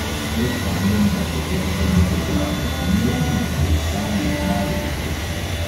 Pred spanjem dajte deklici nekaj granul, in menim, da se bo stanje kmalu izboljšalo.